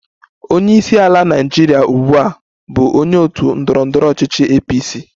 Onye isi ala Naịjirịa ugbu a bụ onye otu ndọrọ ndọrọ ọchịchị APC